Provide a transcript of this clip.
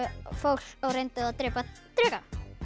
fólk og reyndu að drepa dreka